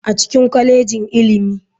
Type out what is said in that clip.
A cikin kwalejin ilimi.